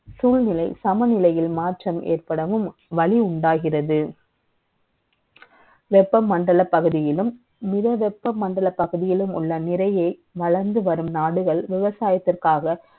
சூழ்நிலை, சமநிலை யில் மாற்றம் ஏற்படவும், வலி உண்டாகிறது. வெ ப்பமண்டல பகுதியிலும், மிக வெ ப்ப மண்டல பகுதியிலும் உள்ள நிறை ய, வளர்ந்து வரும் நாடுகள், விவசாயத்திற்காக